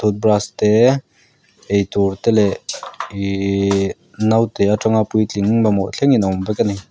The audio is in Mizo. brush te eitur te leh ihh naute atanga puitling mamawh thlengin a awm vek ani.